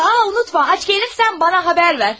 A, unutma, ac gəlirsən mənə xəbər ver.